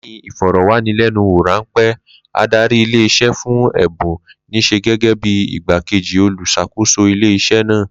Lé̩yìn ìfò̩rò̩wánilé̩nuwò ráńpé̩, adarí ilé is̩é̩ fún È̩bùn nís̩é̩ gé̩gé̩ bí igbá-kejì olùs̩àkóso ilé is̩é̩ náà